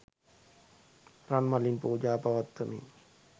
රන් මලින් පූජා පවත්වමින්